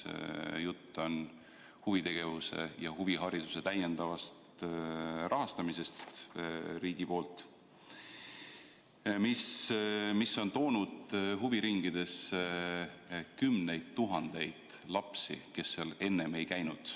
Jutt on huvitegevuse ja huvihariduse täiendavast riigipoolsest rahastamisest, mis on toonud huviringidesse kümneid tuhandeid lapsi, kes seal enne ei käinud.